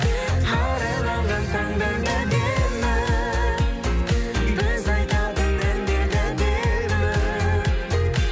арайланған таңдар да әдемі біз айтатын әндер де әдемі